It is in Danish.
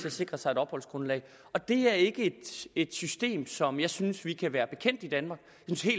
at sikre sig et opholdsgrundlag det er ikke et system som jeg synes vi kan være bekendt i danmark